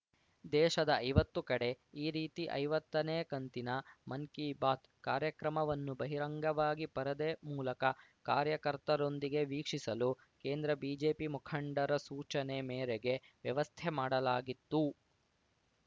ದೇಶದ ಐವತ್ತು ಕಡೆ ಈ ರೀತಿ ಐವತ್ತನೇ ಕಂತಿನ ಮನ್‌ ಕಿ ಬಾತ್‌ ಕಾರ್ಯಕ್ರಮವನ್ನು ಬಹಿರಂಗವಾಗಿ ಪರದೆ ಮೂಲಕ ಕಾರ್ಯಕರ್ತರೊಂದಿಗೆ ವೀಕ್ಷಿಸಲು ಕೇಂದ್ರ ಬಿಜೆಪಿ ಮುಖಂಡರ ಸೂಚನೆ ಮೇರೇಗೆ ವ್ಯವಸ್ಥೆ ಮಾಡಲಾಗಿತ್ತು